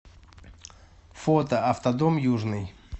фото автодом южный